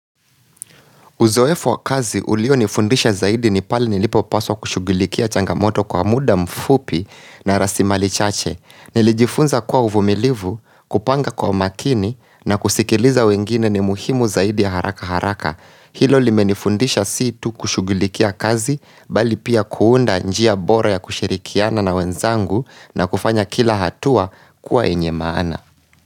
Uzoefu wa kazi ulionifundisha zaidi ni palenilipo paswa kushughulikia changamoto kwa muda mfupi na rasilimali chache. Nilijifunza kuwa uvumilivu, kupanga kwa umakini na kusikiliza wengine ni muhimu zaidi ya haraka haraka. Hilo limenifundisha si tu kushughullikia kazi bali pia kuunda njia bora ya kushirikiana na wenzangu na kufanya kila hatua kuwa yenye maana.